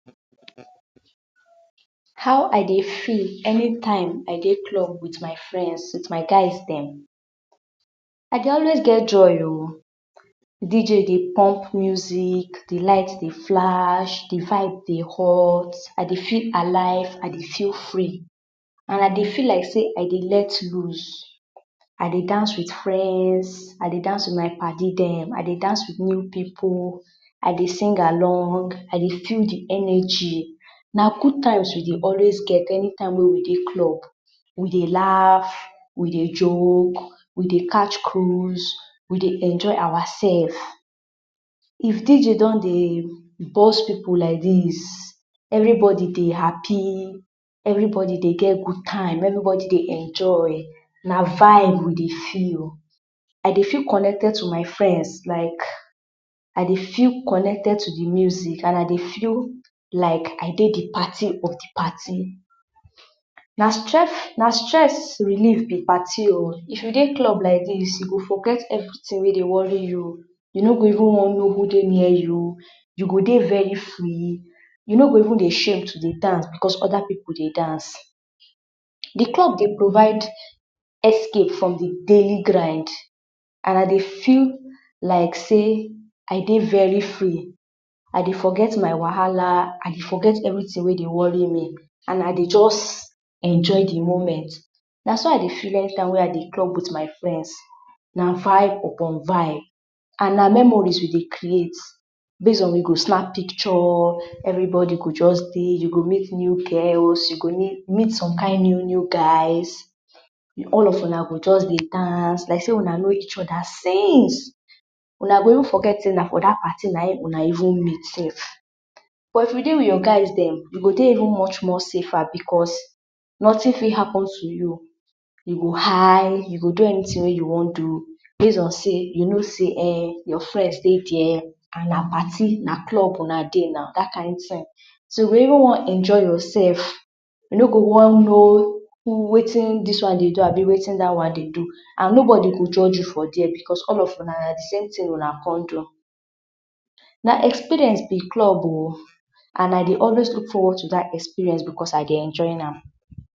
How I dey feel eni time I dey club with my frends, with my guys dem? I dey always get joy o. DJ dey pump muzik, di light dey flash, di vibe dey hot, I dey feel alive, I dey feel free and I dey feel like sey, I dey let loose. i dey dance with frends, I dey dance with my padi dem, dance with new pipu, I dey sing along, I dey feel di eneji. Na gud times we dey always get eni time wey we dey club. We dey laugh, we dey joke, we dey catch cruise, we dey enjoy oursef. If DJ don dey burst pipu like dis, everibodi dey hapi, evribodi dey get gud time, evribodi dey enjoy, na vibe we dey feel. I dey feel connected to my frends, like, I dey feel connected to di muzik and I dey feel like, I dey di parti of di parti. Na stress na stress relief be parti o, if you dey club like dis, you go forget evritin wey dey wori you o, you no go even no who even dey near you o, you go dey, you go dey very free, you no go even shame to dey dance becos oda pipu dey dance. Di club dey provide escape From di daily grind, and I dey feel like sey I dey very free, idey forget my wahala, I dey forget evri tin wey dey wori me and I dey just enjoy di moment. Na so I dey feel eni time wey I dey club with my frends. Na vibe upon vibe, and na memories we dey create base on we go snap pikcho, everi bodi go just dey, base on sey you go meet new girls, you go meet som kind new-new guys, all of una go just dey dance like sey una no each oda since. Wuna go even forget say na for dat pari wey una even meet sef. But if you dey with your guys dem, you go even dey much more safer becos notin fit happen to you, you go high, you go do eni tin wey you wan do base on sey ,you no say ehn, your frends dey dia, and na parti, na club una dey na dat kind tin. So you go even wan enjoy yourself, you no go wan no wetin dis one dey do, abi wetin da one dey do and no bodi go judge you for dia.becos all of una, na disame tin una con do, na experience be club o and I dey always luk forward to dat experience becos I dey enjoy am.